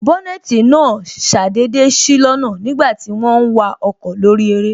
Bónètī náà ṣàdédé sí lọ́nà nígbàti wọ́n ń wa ọkọ̀ lórí eré